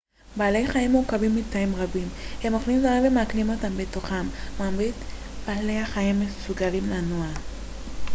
בעלי חיים מורכבים מתאים רבים הם אוכלים דברים ומעכלים אותם בתוכם מרבית בעלי החיים מסוגלים לנוע